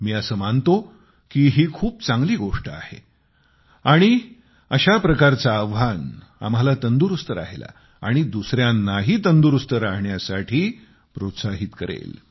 मी अस मानतो की ही खूप चांगली गोष्ट आहे आणि अशा प्रकारचे आव्हान आम्हाला तंदुरुस्त राहायला आणि दुसऱ्यांनाही तंदुरुस्त राहण्यासाठी प्रोत्साहित करेल